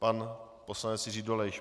Pan poslanec Jiří Dolejš.